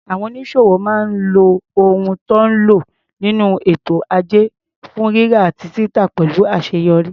Àwọn onísòwò máa ń lo ohun tó ń lo nínú ètò ajé fún rírà àti títà pẹ̀lú àṣeyọrí.